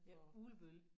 Ja Ugelbølle